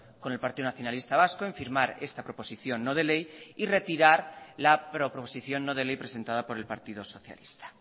con el partido nacionalista vasco en firmar esta proposición no de ley y retirar la proposición no de ley presentada por el partido socialista